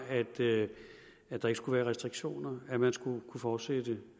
at der ikke skulle være restriktioner at man skulle kunne fortsætte